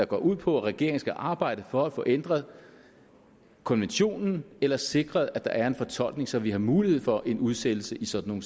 går ud på at regeringen skal arbejde for at få ændret konventionen eller sikre at der er en fortolkning så vi har mulighed for en udsættelse i sådan